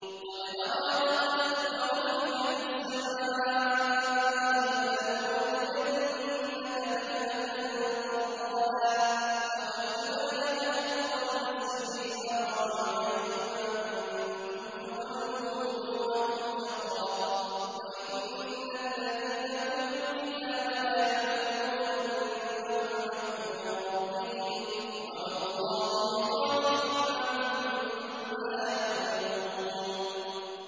قَدْ نَرَىٰ تَقَلُّبَ وَجْهِكَ فِي السَّمَاءِ ۖ فَلَنُوَلِّيَنَّكَ قِبْلَةً تَرْضَاهَا ۚ فَوَلِّ وَجْهَكَ شَطْرَ الْمَسْجِدِ الْحَرَامِ ۚ وَحَيْثُ مَا كُنتُمْ فَوَلُّوا وُجُوهَكُمْ شَطْرَهُ ۗ وَإِنَّ الَّذِينَ أُوتُوا الْكِتَابَ لَيَعْلَمُونَ أَنَّهُ الْحَقُّ مِن رَّبِّهِمْ ۗ وَمَا اللَّهُ بِغَافِلٍ عَمَّا يَعْمَلُونَ